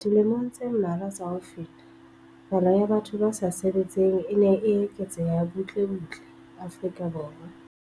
Dilemong tse mmalwa tsa ho feta, palo ya batho ba sa sebetseng e ne e eketseha butle butle Afrika Borwa.